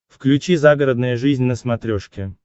включи загородная жизнь на смотрешке